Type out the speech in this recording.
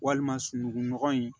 Walima sunugunɔgɔ in